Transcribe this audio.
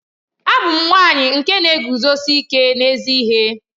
Abum nwanyi nke na-eguzosi ike n'ezi ihe.